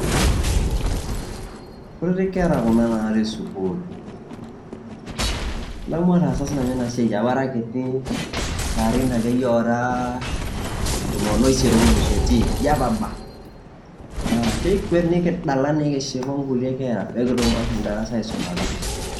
Nkutiti nkera kuna naati suukul. Adamu ataasa sii nanu ena siai apaa ara nkitii lairin ake eiye oraa tomoon o eiset olo losuetii njaapa abaa. Naa keikweet nikidalaa nikishipaa o nkule nkera pee akituum ashoom darasa aisumata.